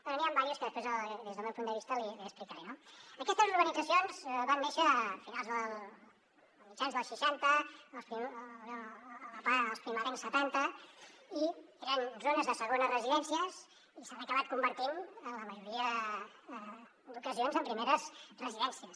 bé n’hi han unes quantes que després des del meu punt de vista l’hi explicaré no aquestes urbanitzacions van néixer a mitjans dels seixanta als primerencs setanta i eren zones de segones residències i s’han acabat convertint en la majoria d’ocasions en primeres residències